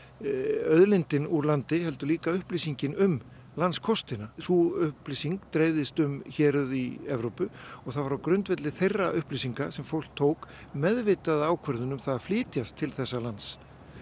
auðlindin úr landi heldur líka upplýsingin um landskostina og sú upplýsing dreifðist um héruð í Evrópu og það var á grundvelli þeirra upplýsinga sem fólk tók meðvitaða ákvörðun um það að flytjast til þessa lands